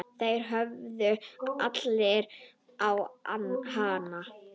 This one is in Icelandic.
Þeir horfðu allir á hana.